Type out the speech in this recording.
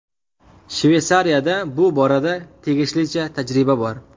Shveysariyada bu borada tegishlicha tajriba bor.